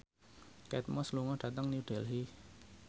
Kate Moss lunga dhateng New Delhi